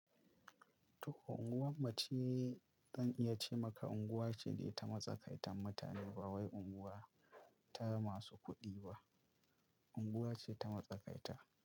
Toh unguwarmu ce zan iya ce maka unguwa ce da ta matsakaitan mutane ba wai unguwa ta masu kuɗi ba, unguwa ce ta matsakaita.